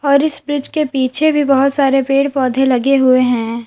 और इस ब्रिज के पीछे भी बहुत सारे पेड़ पौधे लगे हुए हैं।